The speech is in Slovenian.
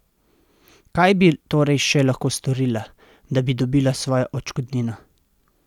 Kaj bi torej še lahko storila, da bi dobila svojo odškodnino?